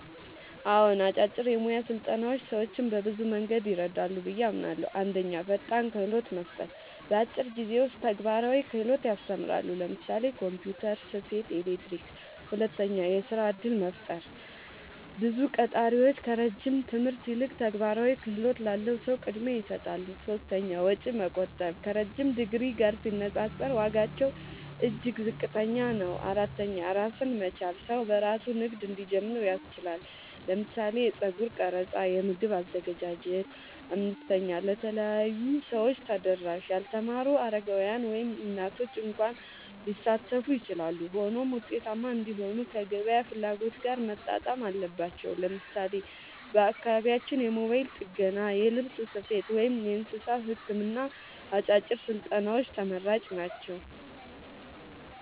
አዎን፣ አጫጭር የሙያ ስልጠናዎች ሰዎችን በብዙ መንገድ ይረዳሉ ብዬ አምናለሁ፦ 1. ፈጣን ክህሎት መስጠት – በአጭር ጊዜ ውስጥ ተግባራዊ ክህሎት ያስተምራሉ (ለምሳሌ ኮምፒውተር፣ ስፌት፣ ኤሌክትሪክ)። 2. የሥራ እድል መፍጠር – ብዙ ቀጣሪዎች ከረጅም ትምህርት ይልቅ ተግባራዊ ክህሎት ላለው ሰው ቅድሚያ ይሰጣሉ። 3. ወጪ መቆጠብ – ከረዥም ዲግሪ ጋር ሲነጻጸር ዋጋቸው እጅግ ዝቅተኛ ነው። 4. ራስን መቻል – ሰው በራሱ ንግድ እንዲጀምር ያስችላል (ለምሳሌ የጸጉር ቀረጻ፣ የምግብ አዘገጃጀት)። 5. ለተለያዩ ሰዎች ተደራሽ – ያልተማሩ፣ አረጋውያን፣ ወይም እናቶች እንኳ ሊሳተፉ ይችላሉ። ሆኖም ውጤታማ እንዲሆኑ ከገበያ ፍላጎት ጋር መጣጣም አለባቸው። ለምሳሌ በአካባቢያችን የሞባይል ጥገና፣ የልብስ ስፌት፣ ወይም የእንስሳት ሕክምና አጫጭር ስልጠናዎች ተመራጭ ናቸው።